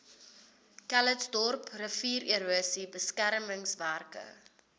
calitzdorp riviererosie beskermingswerke